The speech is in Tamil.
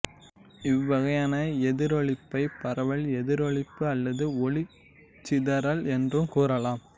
இவ்வகையான எதிரொளிப்பை பரவல் எதிரொளிப்பு அல்லது ஒளிச் சிதறல் என்று கூறலாம்